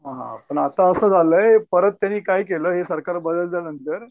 हां पण आता असं झालंय परत त्यांनी काय केलं हे सरकार बदलल्यानंतर